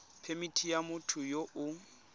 phemithi ya motho yo o